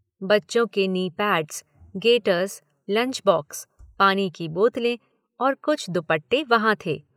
बच्चों के knee pads, gaiters, lunch box, पानी की बोतलें और कुछ दुपट्टे वहां थे।